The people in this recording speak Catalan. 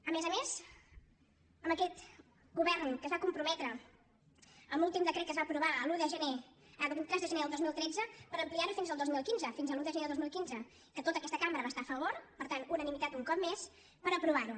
a més a més amb aquest govern que es va comprometre en l’últim decret que es va aprovar el vint tres de gener del dos mil tretze a ampliar ho fins al dos mil quinze fins a l’un de gener del dos mil quinze que tota aquesta cambra hi va estar a favor per tant unanimitat un cop més per aprovar ho